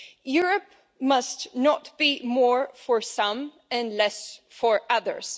Europe must not be more for some and less for others.